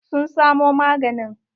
Sun samo maganin?